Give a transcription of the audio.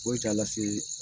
Foyi t'a lase